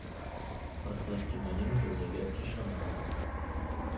поставь киноленту загадки шамана